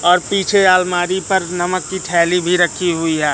और पीछे अलमारी पर नमक की थैली भी रखीं हुई हैं।